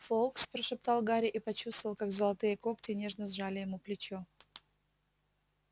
фоукс прошептал гарри и почувствовал как золотые когти нежно сжали ему плечо